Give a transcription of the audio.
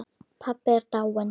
Pabbi er dáinn